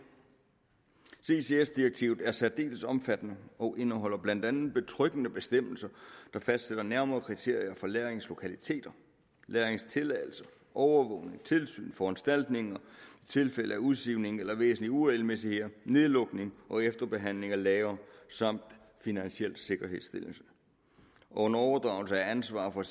ccs direktivet er særdeles omfattende og indeholder blandt andet betryggende bestemmelser der fastsætter nærmere kriterier for lagringslokaliteter lagringstilladelser overvågning tilsyn foranstaltninger tilfælde af udsivning eller væsentlige uregelmæssigheder nedlukning og efterbehandling af lagre samt finansiel sikkerhedsstillelse og en overdragelse af ansvar for